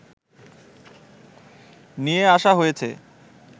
নিয়ে আসা হয়েছে